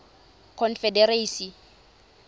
confederacy